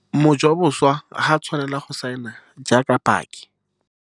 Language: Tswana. Mojaboswa ga a tshwanela go saena jaaka paki.